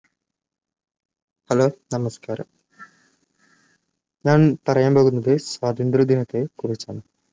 hello നമസ്ക്കാരം ഞാൻ പറയാൻപോകുന്നത് സ്വാതന്ത്ര്യ ദിനത്തെക്കുറിച്ചാണ്